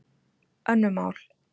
Önnur mál.